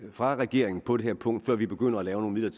fra regeringen på det her punkt før vi begynder at lave nogle